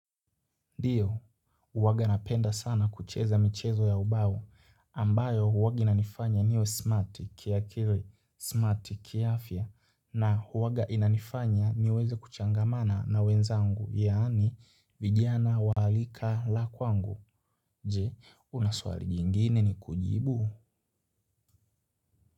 Ndiyo, huwaga napenda sana kucheza michezo ya ubao ambayo huwaga inanifanya niwe smart kiakili, smart kiafya na huwaga inanifanya niweze kuchangamana na wenzangu yaani vijana wa rika la kwangu. Je, una swali jingine ni kujibu.